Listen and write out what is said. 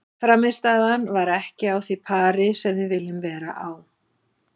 Frammistaðan var ekki á því pari sem við viljum vera á.